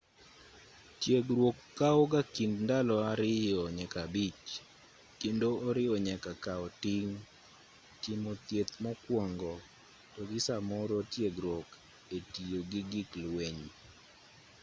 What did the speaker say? tiegruok kawo ga kind ndalo 2-5 kendo oriwo nyaka kao ting' timo thieth mokuongo to gi samoro tiegruok e tiyo gi gik lweny